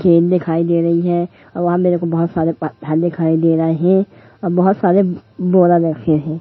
Game दिखाई दे रही हैं अ वहां मेरे को बहुत सारे दिखाई दे रहे हैं अ बहुत सारे बोरा रखे हैं।